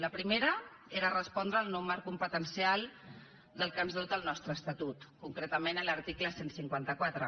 la primera era respondre al nou marc competencial del qual ens dota el nostre estatut concretament l’article cent i cinquanta quatre